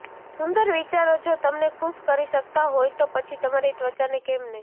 સુંદર વિચારો જો તમને ખુશ કરી શકતા હોય તો પછી તમારી ત્વચાને કેમ નહીં